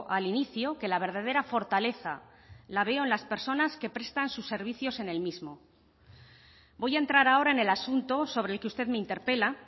al inicio que la verdadera fortaleza la veo en las personas que prestan sus servicios en el mismo voy a entrar ahora en el asunto sobre el que usted me interpela